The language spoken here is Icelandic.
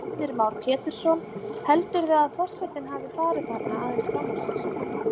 Heimir Már Pétursson: Heldurðu að forsetinn hafi farið þarna aðeins fram úr sér?